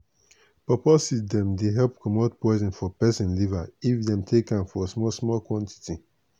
pawpaw seed dem dey help comot poison for peson liver if dem take am for small small quantity.